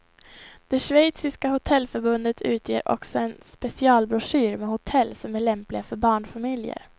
Det schweiziska hotellförbundet utger också en specialbroschyr med hotell som är lämpliga för barnfamiljer.